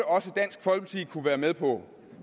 kunne være med på